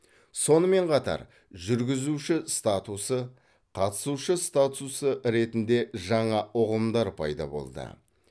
сонымен қатар жүргізуші статусы қатысушы статусы ретінде жаңа ұғымдар пайда болды